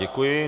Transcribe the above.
Děkuji.